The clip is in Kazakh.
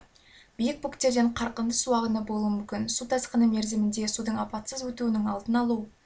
биік бөктерден қарқынды су ағыны болуы мүмкін су тасқыны мерзімінде судың апатсыз өтуінің алдын алу